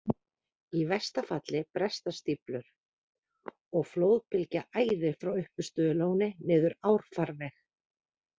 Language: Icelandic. Í versta falli bresta stíflur, og flóðbylgja æðir frá uppistöðulóni niður árfarveg.